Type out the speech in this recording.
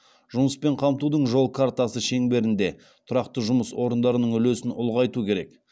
жұмыспен қамтудың жол картасы шеңберінде тұрақты жұмыс орындарының үлесін ұлғайту керек